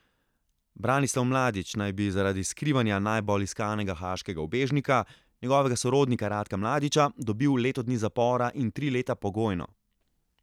Branislav Mladić naj bi zaradi skrivanja najbolj iskanega haaškega ubežnika, njegovega sorodnika Ratka Mladića, dobil leto dni zapora in tri leta pogojno.